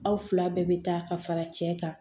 Aw fila bɛɛ bɛ taa ka fara cɛ kan